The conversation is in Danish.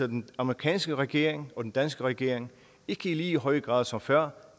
den amerikanske regering og den danske regering ikke i lige så høj grad som før